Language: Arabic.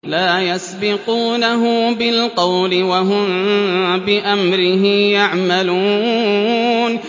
لَا يَسْبِقُونَهُ بِالْقَوْلِ وَهُم بِأَمْرِهِ يَعْمَلُونَ